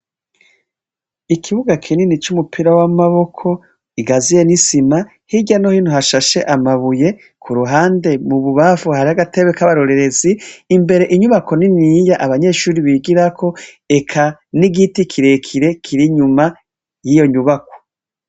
Ikibuga kinini c'umupira w'amaboko, igaziye n'isima hirya no hintu hashashe amabuye ku ruhande mu bubafu hari agatebe k'abarorerezi, imbere inyubako ni niya abanyeshuri bigirako eka n'igiti kirekire kirinyuma y'iyo nyubako.